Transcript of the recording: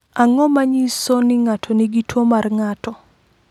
Ang’o ma nyiso ni ng’ato nigi tuwo mar ng’ato?